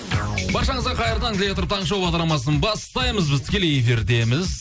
баршаңызға қайырлы таң дей отырып таңғы шоу бағдарламасын бастаймыз біз тікелей эфирдеміз